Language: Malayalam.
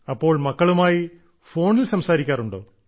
അപ്പോൾ മക്കളുമായി ഫോണിൽ സംസാരിക്കാറുണ്ടോ